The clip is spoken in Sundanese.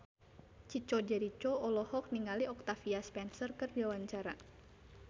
Chico Jericho olohok ningali Octavia Spencer keur diwawancara